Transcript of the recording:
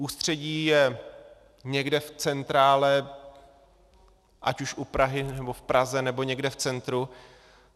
Ústředí je někde v centrále, ať už u Prahy, nebo v Praze, nebo někde v centru.